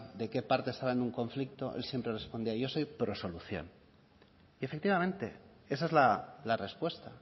de qué parte estaba en un conflicto el siempre respondía yo soy prosolución y efectivamente esa es la respuesta